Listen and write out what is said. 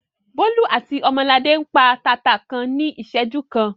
Bólú àti Ọmọladé ń pa taata kan ní ìṣẹ́jú kan.